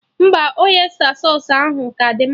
Mba, ọysta sausụ ahụ ka dị mma